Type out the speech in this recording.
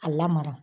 A lamara